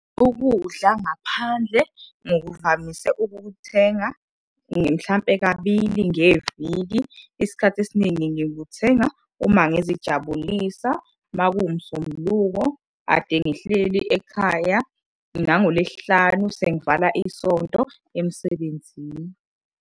Ukudla ngaphandle ngikuvamise ukukuthenga mhlampe kabili ngeviki. Isikhathi esiningi ngikuthenga uma ngizijabulisa uma kuwuMsombuluko kade ngihleli ekhaya, nangoLwesihlanu sengivala isonto emsebenzini.